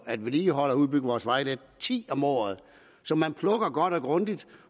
at vedligeholde og udbygge vores vejnet ti milliard om året så man plukker dem godt og grundigt